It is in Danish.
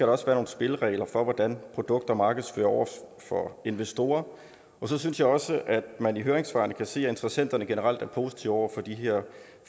også være nogle spilleregler for hvordan produkter markedsføres over for investorer og så synes jeg også at man i høringssvarene kan se at interessenterne generelt er positive over for de her